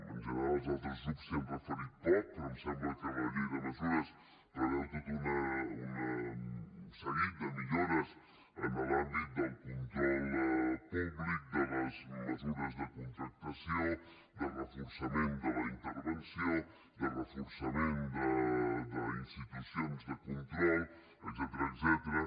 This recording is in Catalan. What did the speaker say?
en general els altres grups s’hi han referit poc però em sembla que la llei de mesures preveu tot un seguit de millores en l’àmbit del control públic de les mesures de contractació de reforçament de la intervenció de reforçament d’institucions de control etcètera